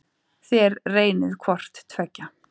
Þér reynið hvort tveggja.